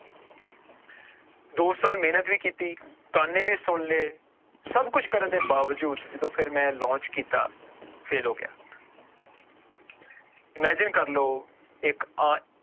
ਦੋ ਸਾਲ ਮਿਹਨਤ ਵੀ ਕੀਤੀ ਤਾਨੇ ਵੀ ਸੁਣ ਲਏ, ਸਭ ਕੁਛ ਕਰਨ ਦੇ ਬਾਵਜੂਦ ਜਦੋਂ ਫਿਰ ਮੈਂ launch ਕੀਤਾ fail ਹੋ ਗਿਆ imagine ਕਰ ਲਓ ਇੱਕ ਆ